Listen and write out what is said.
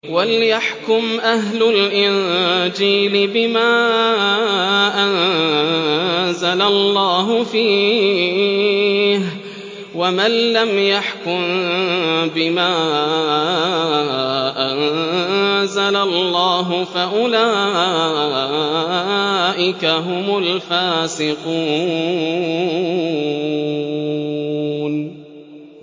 وَلْيَحْكُمْ أَهْلُ الْإِنجِيلِ بِمَا أَنزَلَ اللَّهُ فِيهِ ۚ وَمَن لَّمْ يَحْكُم بِمَا أَنزَلَ اللَّهُ فَأُولَٰئِكَ هُمُ الْفَاسِقُونَ